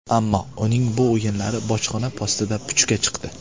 Ammo uning bu o‘ylari bojxona postida puchga chiqdi.